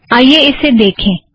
आइए इसे देखें